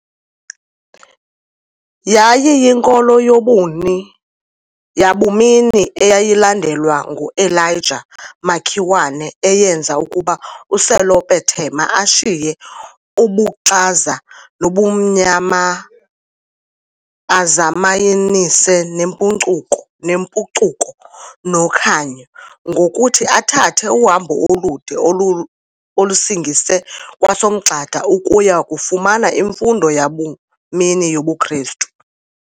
Yayiyinkolo yobuni yabumini eyayilandelwa nguElijah Makiwane eyenza ukuba uSelope Thema ashiye 'ubuxaza' 'nobumnyama' azayamanise 'nempucuko' 'nokhanyo' ngokuthi athathe uhambo olude olusingise kwaSomgxada ukuya kufumana imfundo yabumini yobuKrestu.